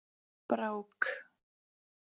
Brák